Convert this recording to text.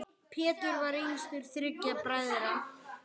Pétur var yngstur þriggja bræðra.